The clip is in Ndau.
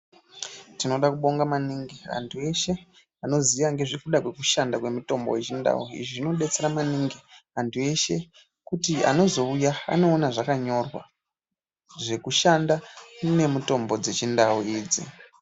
Tinoda kubonga maningi anthu eshe anoziya ngezvekuda kwezvekushanda kwemitombo yechindau izvi zvinodetsera maningi anhu eshe kuti anozouya anoona zvakanyorwa zvekushanda nemitombo dzechindau idzi.